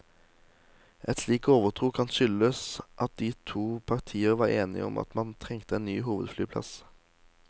En slik overtro kan skyldes at de to partier var enige om at man trengte en ny hovedflyplass.